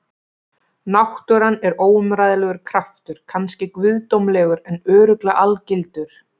Náttúran er óumræðilegur kraftur, kannski guðdómlegur en örugglega algildur.